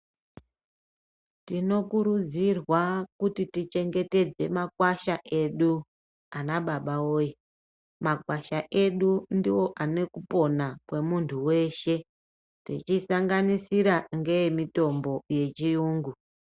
Tinokurudzirwa kuti tichengetedze makwasha edu ana baba woye, makwasha edu ndiwo ane kupona kwemuntu weshe tichisanganisira neekupona kwechiyungu.